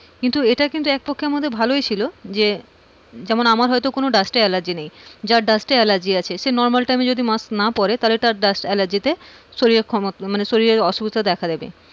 এটা কিন্তু এক পক্ষে আমাদের ভালই ছিল যে যেমন আমার হয়তো কোন dust allergy নেই তার dust allergy আছে সে normal time যদি মাস্ক না পড়ে তার dust allergy তে শরীর শরীরে ক্ষমতা অসুস্থ দেখা দেবে।